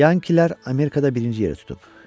Yankilər Amerikada birinci yeri tutub.